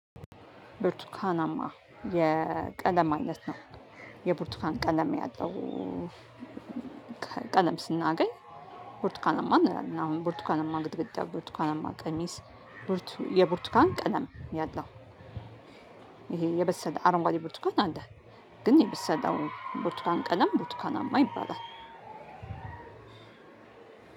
ብርቱካናማ የቀለም አይነት ነው። የብርቱካን ቀለም ያለው ስናገኝ ቡርቱካናማ እንላለን። አሁን ቡርቱካናማ ግድግዳ ቡርቱካናማ ቀሚስ ብርቱ የብርቱካን ቀለም ያለው። ይሄ የበሰለ አረንጓዴ ብርቱካን አለ። ግን የበሰለው ቡርቱኳን ቀለም ቡርቱካናማ ይባላል።